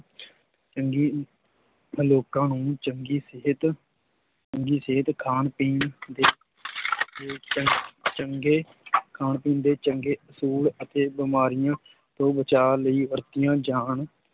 ਚੰਗੀ ਲੋਕਾਂ ਨੂੰ ਚੰਗੀ ਸਿਹਤ, ਚੰਗੀ ਸਿਹਤ ਖਾਣ ਪੀਣ ਦੇ ਦੇ ਚੰ ਚੰਗੇ ਖਾਣ ਪੀਣ ਦੇ ਚੰਗੇ ਅਸੂਲ ਅਤੇ ਬਿਮਾਰੀਆਂ ਤੋਂ ਬਚਾਅ ਲਈ ਵਰਤੀਆਂ ਜਾਣ